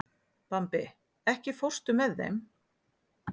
Bambi, ekki fórstu með þeim?